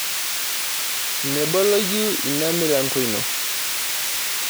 Meboloyu ina milango ino.